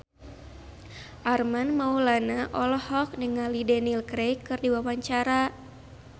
Armand Maulana olohok ningali Daniel Craig keur diwawancara